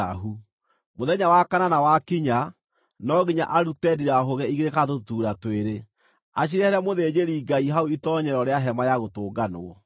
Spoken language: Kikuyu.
Mũthenya wa kanana wakinya, no nginya arute ndirahũgĩ igĩrĩ kana tũtutuura twĩrĩ, acirehere mũthĩnjĩri-Ngai hau itoonyero rĩa Hema-ya-Gũtũnganwo.